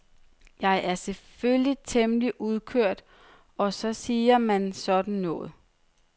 Jeg er selvfølgelig temmelig udkørt og så siger man sådan noget.